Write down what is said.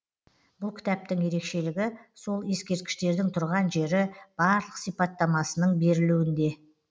бұл кітаптың ерекшелігі сол ескерткіштердің тұрған жері барлық сипаттамасының берілуінде